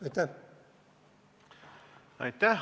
Aitäh!